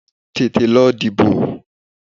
Tètè lọ dìbò!